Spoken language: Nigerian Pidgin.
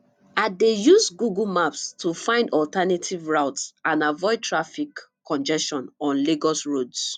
i dey use google maps to find alternative routes and avoid traffic congestion on lagos roads